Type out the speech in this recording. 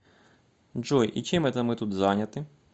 джой и чем это мы тут заняты